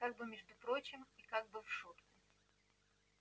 как бы между прочим и как бы в шутку